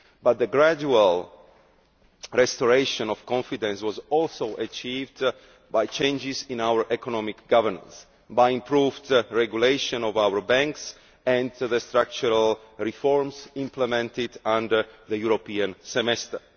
But the gradual restoration of confidence was also achieved by changes in our economic governance, by the improved regulation of our banks and by the structural reforms implemented under the European Semester.